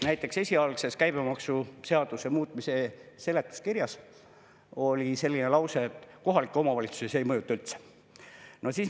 Näiteks esialgses käibemaksuseaduse muutmise seaduse seletuskirjas oli selline lause, et kohalikke omavalitsusi see ei mõjuta üldse.